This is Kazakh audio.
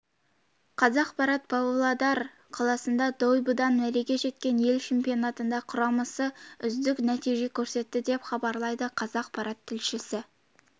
қазақпарат павлодар қаласында дойбыдан мәреге жеткен ел чемпионатында құрамасы үздік нәтиже көрсетті деп хабарлайды қазақпарат тілшісі